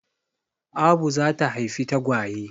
Abu za ta haifi tagwaye.